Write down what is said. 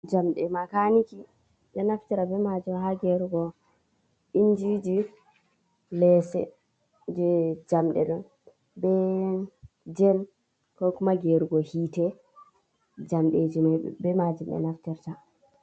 Jamde makaniki ɓe naftira be majum ha gerugo injiji lese je jamɗeɗo, be jen kokuma gerugo hite jamɗeji majum be man ɓe naftirta.